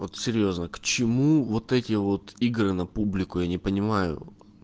вот серьёзно к чему вот эти вот игры на публику я не понимаю